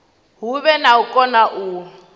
huvhe na u kona u